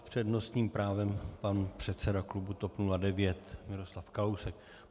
S přednostním právem pan předseda klubu TOP 09 Miroslav Kalousek.